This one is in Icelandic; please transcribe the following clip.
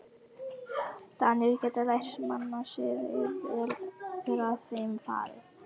Danir geta lært mannasiði, ef vel er að þeim farið.